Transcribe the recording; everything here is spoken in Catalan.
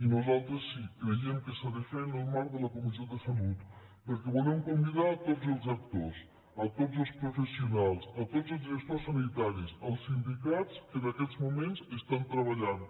i nosaltres sí creiem que s’ha de fer en el marc de la comissió de salut perquè hi volem convidar tots els actors tots els professionals tots els gestors sanitaris els sindicats que en aquests moments estan treballant